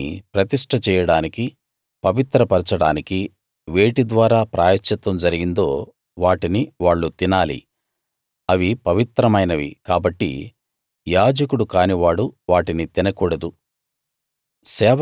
వారిని ప్రతిష్ఠ చేయడానికీ పవిత్రపరచడానికీ వేటి ద్వారా ప్రాయశ్చిత్తం జరిగిందో వాటిని వాళ్ళు తినాలి అవి పవిత్రమైనవి కాబట్టి యాజకుడు కానివాడు వాటిని తినకూడదు